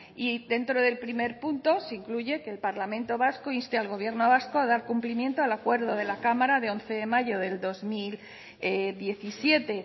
y dentro del primer punto se incluye que el parlamento vasco inste al gobierno vasco a dar cumplimiento al acuerdo de la cámara de once de mayo de dos mil diecisiete